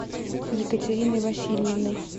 екатериной васильевной